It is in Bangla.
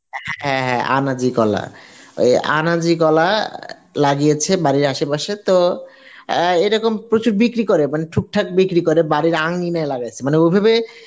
হ্যাঁ হ্যাঁ আনাজি কলা ওই আনাজি কলা লাগিয়েছে বাড়ির আশেপাশে তো আ এরকম প্রচুর বিক্রি করে টুকটাক বিক্রি করে বাড়ির আঙিনায় লাগিয়েছে তবে ওভাবে